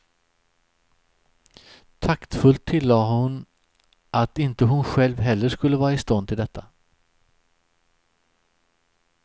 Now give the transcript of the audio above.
Taktfullt tillade hon att inte hon själv heller skulle vara i stånd till detta.